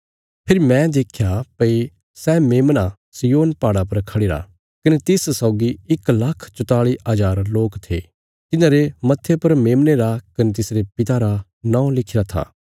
फेरी मैं देख्या भई सै मेमना सिय्योन पहाड़ा पर खढ़िरा कने तिस सौगी इक लाख चौताली हज़ार लोक थे तिन्हांरे मत्थे पर मेमने रा कने तिसरे पिता रा नौं लिखिरा था